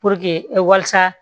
Puruke walasa